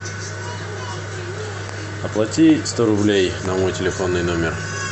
оплати сто рублей на мой телефонный номер